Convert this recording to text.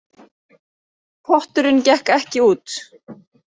Potturinn gekk ekki út